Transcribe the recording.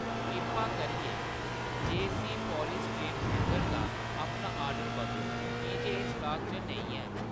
किरपा करियै जेयसी पॉलीस्टाइनिन हैंगर दा अपना ऑर्डर बदलो की जे एह्‌‌ स्टाक च नेईं ऐ